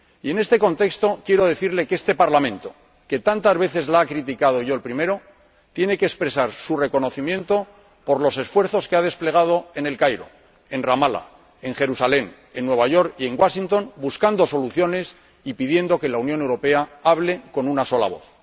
Y en este contexto, quiero decirle que este Parlamento, que tantas veces la ha criticado −yo el primero− tiene que expresar su reconocimiento por los esfuerzos que ha desplegado en El Cairo, en Ramala, en Jerusalén, en Nueva York y en Washington, buscando soluciones y pidiendo que la Unión Europea hable con una sola voz.